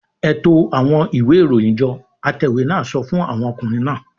"Ẹ to àwọn ìwé-ìròyìn jọ!" Atẹ̀wé náà sọ fún àwọn ọkùnrin náà.